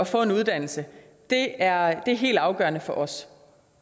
få en uddannelse er helt afgørende for os